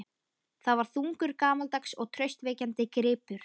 Það var þungur, gamaldags og traustvekjandi gripur.